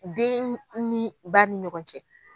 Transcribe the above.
Den ni ba ni ɲɔgɔn cɛ.